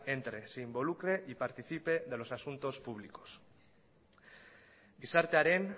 entre se involucre y participe de los asuntos públicos gizartearen